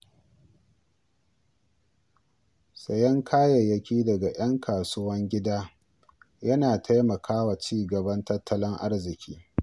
Sayen kayayyaki daga ‘yan kasuwan gida yana taimakawa ci gaban tattalin arziƙi.